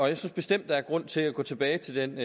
jeg synes bestemt der er grund til at gå tilbage til den